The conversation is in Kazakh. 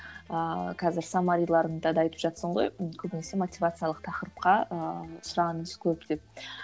ыыы қазір саммариларыңда да айтып жатырсың ғой көбінесе мотивациялық тақырыпқа ыыы сұраныс көп деп